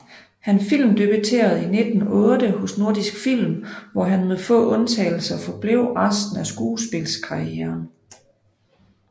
Han filmdebuterede i 1908 hos Nordisk Film hvor han med få undtagelser forblev resten af skuespildskarrieren